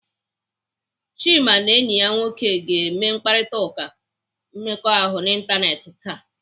Chika na enyi ya nwoke ga-eme mkparịtaụka mmekọahụ n'ịntanetị taa